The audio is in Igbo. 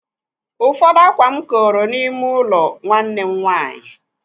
Ụfọdụ ákwá m koro n'ime ụlọ nwanne m nwaanyị.